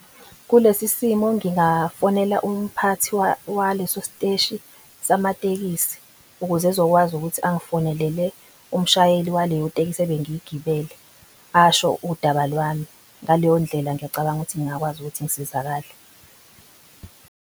Kulesi simo ngingafonelwa umphathi waleso siteshi samatekisi ukuze ezokwazi ukuthi angifonelele umshayeli waleyo itekisi ebengiyigibele. Asho udaba lwami ngaleyo ndlela, ngiyacabanga ukuthi ngingakwazi ukuthi ngisizakale.